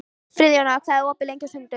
Friðjóna, hvað er opið lengi á sunnudaginn?